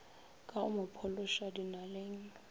ka go mo phološa dinaleng